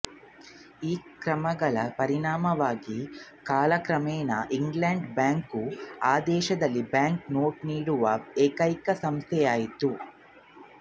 ಈ ಕ್ರಮಗಳ ಪರಿಣಾಮವಾಗಿ ಕಾಲಕ್ರಮೇಣ ಇಂಗ್ಲೆಂಡಿನ ಬ್ಯಾಂಕು ಆ ದೇಶದಲ್ಲಿ ಬ್ಯಾಂಕ್ ನೋಟು ನೀಡುವ ಏಕೈಕ ಸಂಸ್ಥೆಯಾಯಿತು